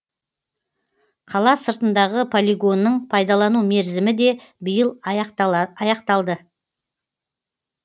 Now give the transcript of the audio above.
қала сыртындағы полигонның пайдалану мерзімі де биыл аяқталды